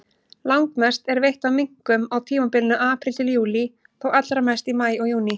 Langmest er veitt af minkum á tímabilinu apríl-júlí, þó allra mest í maí og júní.